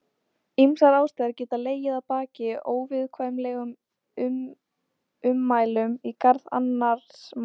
Ýmsar ástæður geta legið að baki óviðurkvæmilegum ummælum í garð annars manns.